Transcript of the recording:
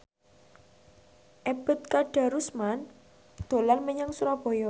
Ebet Kadarusman dolan menyang Surabaya